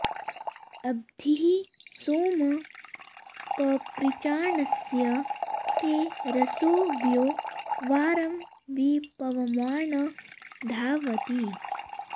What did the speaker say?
अद्भिः सोम पपृचानस्य ते रसोऽव्यो वारं वि पवमान धावति